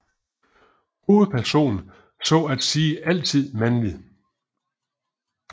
Hovedpersonen så at sige altid mandlig